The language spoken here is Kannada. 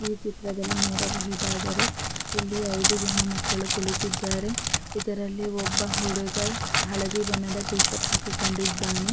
ಈ ಚಿತ್ರದಲ್ಲಿ ನೋಡಬಹುದಾದರೆ ಇಲ್ಲಿ ಐದು ಜನ ಮಕ್ಕಳು ಕುಳಿತ್ತಿದ್ದಾರೆ ಇದರಲ್ಲಿ ಒಬ್ಬ ಹುಡುಗ ಹಳದಿ ಬಣ್ಣದ ಟಿ ಶರ್ಟ್ ಹಾಕಿಕೊಂಡಿದ್ದಾನೆ.